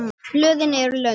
Blöðin eru löng.